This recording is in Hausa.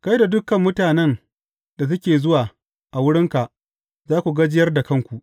Kai da dukan mutanen da suke zuwa wurinka za ku gajiyar da kanku.